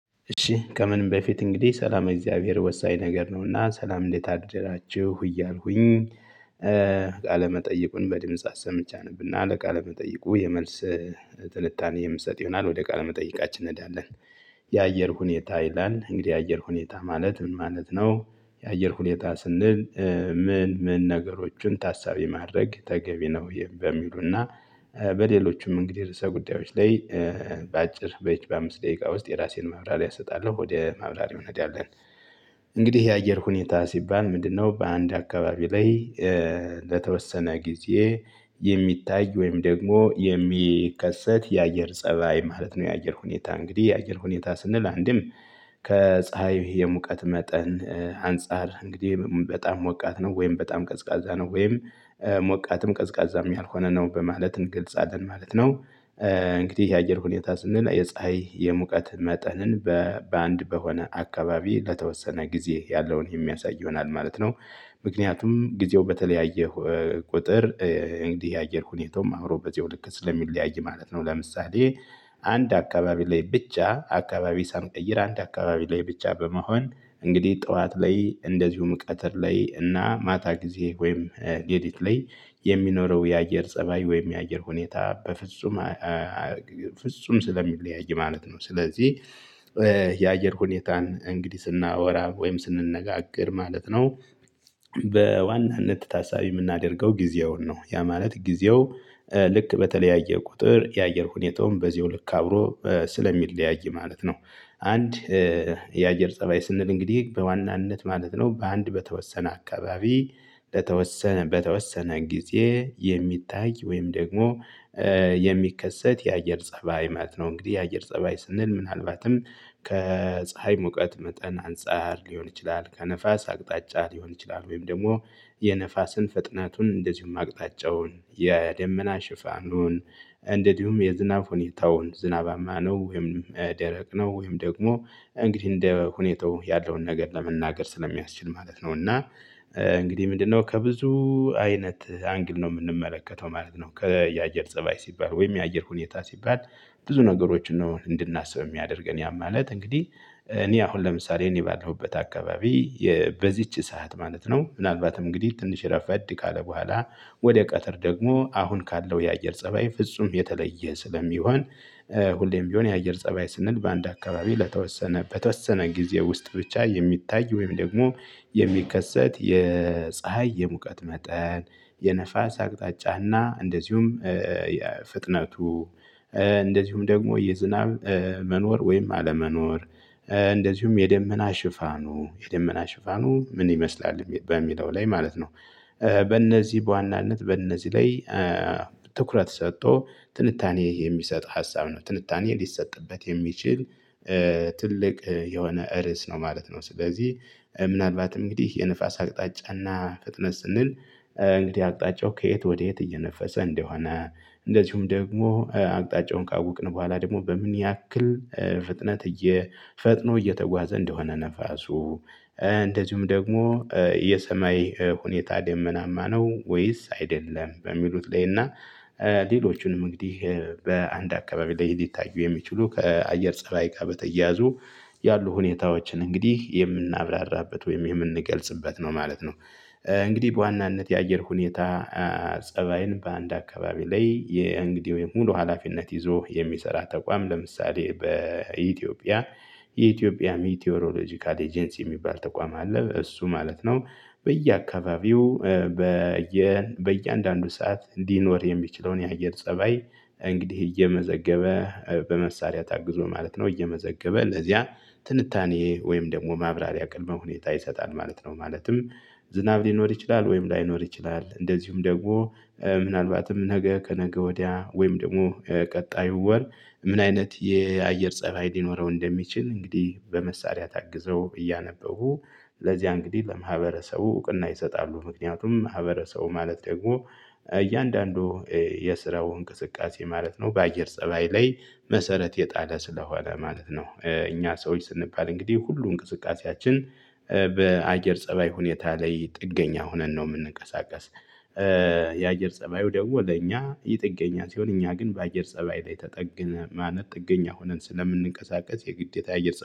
እሺ ከምንም በፊት እንግዲህ ሰላመ እግዚአብሔር ወሳኝ ነገር ነውና ሰላም እንዴት አደራችሁ እያልኩኝ ቃለ መጠይቁን በድምጽ አሰምቼ አነብና ለቃለ መጠይቁ የመልስ ትንታኔ የምሰጥ ይሆናል ወደ ቃለ መጠየቃችን እንሄዳለን። የአየር ሁኔታ ይላል እንግዲህ የአየር ሁኔታ ማለት ምን ማለት ነው? የአየር ሁኔታ ስንል ምን ምን ነገሮችን ታሳቢ ማድረግ ተገቢ ነው? በሚሉና በሌሎችም እንግዲህ ርዕሰ ጉዳዮች ላይ በአጭር በይቺ በአምስት ደቂቃ ውስጥ የራሴን ማብራሪያ እሰጣለሁ ወደ ማብራሪያው እንሄዳለን። እንግዲህ የአየር ሁኔታ ሲባል ምንድነው በአንድ አካባቢ ላይ ለተወሰነ ጊዜ የሚታይ ወይም ደግሞ የሚከሰት የአየር ፀባይ ማለት ነው። የአየር ሁኔታ እንግዲህ የአየር ሁኔታ ስንል አንድም ከፀሀይ የሙቀት መጠን አንፃር እንግዲህ በጣም ሞቃት ነው ወይም በጣም ቀዝቃዛ ነው ወይም ሞቃትም ቀዝቃዛም ያልሆነ ነው በማለት እንገልፃለን ማለት ነው። እንግዲህ የአየር ሁኔታ ስንል የፀሀይ የሙቀት መጠንን በ በአንድ በሆነ አካባቢ ለተወሰነ ጊዜ ያለውን የሚያሳይ ይሆናል ማለት ነው። ምክንያቱም ጊዜው በተለያየ ቁጥር እንግዲህ የአየር ሁኔታውም አብሮ በዚያው ልክ ስለሚለያይ ማለት ነው። ለምሳሌ አንድ አካባቢ ላይ ብቻ አካባቢ ሳንቀይር አንድ አካባቢ ላይ ብቻ በመሆን እንግዲህ ጠዋት ላይ እንደዚሁም ቀትር ላይ እና ማታ ጊዜ ወይም ሌሊት ላይ የሚኖረው የአየር ፀባይ ወይም የአየር ሁኔታ በፍጹም ፍጹም ስለሚለያይ ማለት ነው። ስለዚህ የአየር ሁኔታን እንግዲህ ስናወራ ወይም ስንነጋገር ማለት ነው። በዋናነት ታሳቢ የምናደርገው ጊዜውን ነው ያ ማለት ጊዜው ልክ በተለያየ ቁጥር የአየር ሁኔታውም በዚያው ልክ አብሮ ስለሚለያይ ማለት ነው። አንድ የአየር ፀባይ ስንል እንግዲህ በዋናነት ማለት ነው በአንድ በተወሰነ አካባቢ ለተወሰነ በተወሰነ ጊዜ የሚታይ ወይም ደግሞ የሚከሰት የአየር ፀባይ ማት ነው። እንግዲህ የአየር ፀባይ ስንል ምናልባትም ከፀሀይ ሙቀት መጠን አንፃር ሊሆን ይችላል ከነፋስ አቅጣጫ ሊሆን ይችላል ወይም ደግሞ የነፋስን ፍጥናቱን እንደዚሁም አቅጣጫውን የደመና ሽፋኑን እንደዚሁም የዝናብ ሁኔታውን ዝናባማ ነው ወይም ደረቅ ነው ወይም ደግሞ እንግዲህ እንደ ሁኔታው ያለውን ነገር ለመናገር ስለሚያስችል ማለት ነው። እና እንግዲህ ምንድነው ከብዙ አይነት አንግል ነው የምንመለከተው ማለት ነው። ከየአየር ፀባይ ሲባል ወይም የአየር ሁኔታ ሲባል ብዙ ነገሮችን ነው እንድናስብ የሚያደርገን ያ ማለት እንግዲህ እኔ አሁን ለምሳሌ እኔ ባለሁበት አካባቢ የ በዚች ሰዓት ማለት ነው። ምናልባትም እንግዲህ ትንሽ ረፈድ ካለ በኋላ ወደ ቀትር ደግሞ አሁን ካለው የአየር ፀባይ ፍጹም የተለየ ስለሚሆን ሁሌም ቢሆን የአየር ፀባይ ስንል በአንድ አካባቢ ለተወሰነ በተወሰነ ጊዜ ውስጥ ብቻ የሚታይ ወይም ደግሞ የሚከሰት የፀሀይ የሙቀት መጠን የንፋስ አቅጣጫና እንደዚሁም የ ፍጥነቱ እንደዚሁም ደግሞ የዝናብ መኖር ወይም አለመኖር እንደዚሁም የደመና ሽፋኑ የደመና ሽፋኑ ምን ይመስላል በሚለው ላይ ማለት ነው። በእነዚህ በዋናነት በእነዚህ ላይ ትኩረት ሰጥቶ ትንታኔ የሚሰጥ ሀሳብ ነው ትንታኔ ሊሰጥበት የሚችል ትልቅ የሆነ ርዕስ ነው ማለት ነው። ስለዚህ ምናልባት እንግዲህ የንፋስ አቅጣጫና ፍጥነት ስንል እንግዲህ አቅጣጫው ከየት ወዴት እየነፈሰ እንደሆነ እንደዚሁም ደግሞ አቅጣጫውን ካወቅን በኋላ ደግሞ በምን ያክል ፍጥነት እየፈጥኖ እየተጓዘ እንደሆነ ነፋሱ እንደዚሁም ደግሞ የሰማይ ሁኔታ ደመናማ ነው። ወይስ አይደለም በሚሉት ላይ እና ሌሎቹንም እንግዲህ በአንድ አካባቢ ላይ ሊታዩ የሚችሉ ከአየር ፀባይ ጋር በተያያዙ ያሉ ሁኔታዎችን እንግዲህ የምናብራራበት ወይም የምንገልጽበት ነው ማለት ነው። እንግዲህ በዋናነት የአየር ሁኔታ ፀባይን በአንድ አካባቢ ላይ የእንግዲህ ወይም ሙሉ ሀላፊነት ይዞ የሚሰራ ተቋም ለምሳሌ በኢትዮጵያ የኢትዮጵያ ሜትዮሮሎጂካል ኤጀንሲ የሚባል ተቋም አለ። እሱ ማለት ነው በየአካባቢው በየ በእያንዳንዱ ሰዓት እንዲኖር የሚችለውን የአየር ፀባይ እንግዲህ እየመዘገበ በመሳሪያ ታግዞ ማለት ነው እየመዘገበ ለዚያ ትንታኔ ወይም ደግሞ ማብራሪያ ቅድመ ሁኔታ ይሰጣል ማለት ነው። ማለትም ዝናብ ሊኖር ይችላል ወይም ላይኖር ይችላል እንደዚሁም ደግሞ ምናልባትም ነገ ከነገ ወዲያ ወይም ደግሞ ከቀጣዩ ወር ምን አይነት የአየር ፀባይ ሊኖረው እንደሚችል እንግዲህ በመሳሪያ ታግዘው እያነበቡ ለዚያ እንግዲህ ለማህበረሰቡ እውቅና ይሰጣሉ። ምክንያቱም ማህበረሰቡ ማለት ደግሞ እያንዳንዱ የስራው እንቅስቃሴ ማለት ነው በአየር ፀባይ ላይ መሰረት የጣለ ስለሆነ ማለት ነው። እኛ ሰዎች ስንባል እንግዲህ ሁሉ እንቅስቃሴያችን በአየር ፀባይ ሁኔታ ላይ ጥገኛ ሆነን ነው የምንቀሳቀስ። የአየር ፀባዩ ደግሞ ለእኛ የጥገኛ ሲሆን እኛ ግን በአየር ፀባይ ላይ ተጠግነ ማነት ጥገኛ ሆነን ስለምንቀሳቀስ የግዴታ አየር